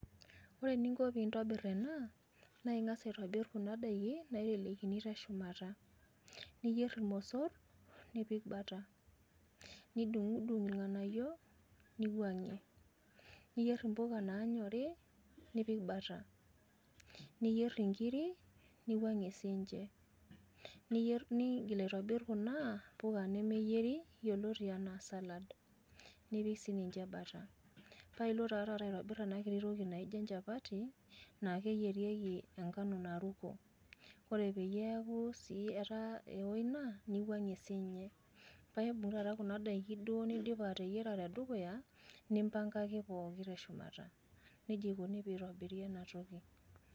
Ore eninko pee intobirr ena naa ing`as aitobirr kuna daiki naitelekini te shumata niyier ilmosorr nipik bata nidudung ilng`anayio nirrajie. Niyierr mpuka naanyori nipik bata. Niyierr nkirik niwang`ie sii ninche. Niyierr, nigil aitobirr kuna puka nemeyieri yioloti enaa salad, paa ipik sii ninche bata. Paa ilo taa taata ayierr ena kiti toki naijo enchapati naa keyierieki enkano naruko. Ore pee eeku sii ewo ina niwang`ie sii ninche. Paa imbung taa taata kuna n`daiki niteyiara te dukuya nimbangaki pooki te shumata, neji eikoni teneyieri ena toki.